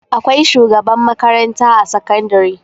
Akwai shugaban makaranta a sakandari.